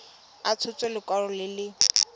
a tshotse lekwalo le le